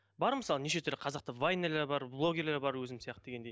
бар мысалы неше түрлі қазақта вайнерлер бар блогерлер бар өзің сияқты дегендей